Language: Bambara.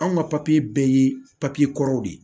Anw ka papiye bɛɛ ye papiye kɔrɔw de ye